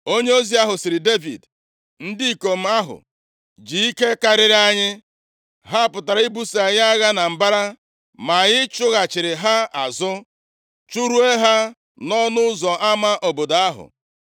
Onyeozi ahụ sịrị Devid, “Ndị ikom ahụ ji ike karịrị anyị, ha pụtara ị buso anyị agha na mbara ma anyị chụghachiri ha azụ. Chụruo ha nʼọnụ ụzọ ama obodo ahụ.